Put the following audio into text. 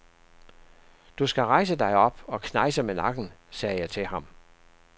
Du skal rejse dig op og knejse med nakken, sagde jeg til han.